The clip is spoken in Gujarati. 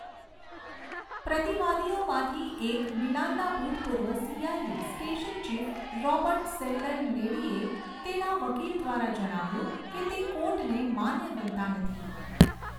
પ્રતિવાદીઓમાંથી એક, મિલાનના ભૂતપૂર્વ CIA station chief, Robert Seldon લેડીએ તેના વકીલ દ્વારા જણાવ્યુંં કે તે કોર્ટને માન્ય ગણતા નથી.